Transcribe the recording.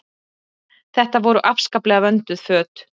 Þetta voru afskaplega vönduð föt.